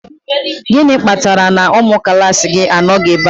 Gịnị kpatara na ụmụ klaasị gị anọghị ebe a?